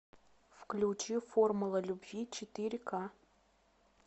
включи формула любви четыре к